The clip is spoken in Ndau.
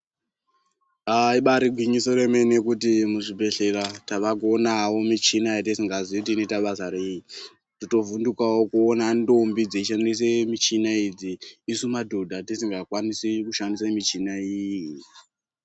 Aa ibari gwinyiso remene kuti muzvibhedhlera taakuonawo muchina yatisikazii kuti inoita basa rei. Totovhundukawo kuona nthombo dzeishandisa muchina idzi isu madhodha tisingakwanisi kushandisa michina iyi.